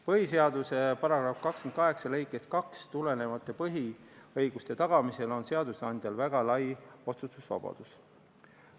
Põhiseaduse § 28 lõikest 2 tulenevate põhiõiguste tagamisel on seadusandjal väga lai otsustusvabadus.